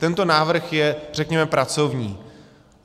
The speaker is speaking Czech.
Tento návrh je, řekněme, pracovní.